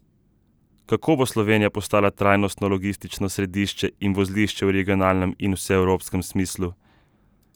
Kako bo Slovenija postala trajnostno logistično središče in vozlišče v regionalnem in vseevropskem smislu?